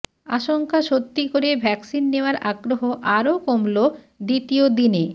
আশঙ্কা সত্যি করে ভ্যাকসিন নেওয়ার আগ্রহ আরও কমল দ্বিতীয় দিনে